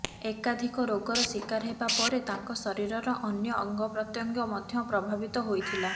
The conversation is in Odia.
ଏକାଧିକ ରୋଗର ଶିକାର ହେବା ପରେ ତାଙ୍କ ଶରୀରର ଅନ୍ୟ ଅଙ୍ଗପ୍ରତ୍ୟଙ୍ଗ ମଧ୍ୟ ପ୍ରଭାବିତ ହୋଇଥିଲା